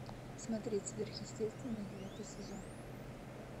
смотреть сверхъестественное девятый сезон